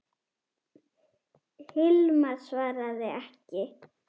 Hilmar svaraði ekki.